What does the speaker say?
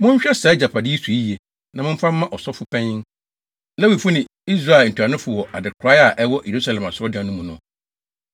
Monhwɛ saa agyapade yi so yiye, na momfa mma asɔfo mpanyin, Lewifo ne Israel ntuanofo wɔ adekorae a ɛwɔ Yerusalem asɔredan no mu no.”